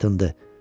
Dartındı.